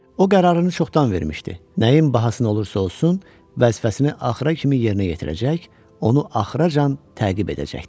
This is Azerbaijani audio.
O qərarını çoxdan vermişdi, nəyin bahasına olursa olsun vəzifəsini axıra kimi yerinə yetirəcək, onu axıracan təqib edəcəkdi.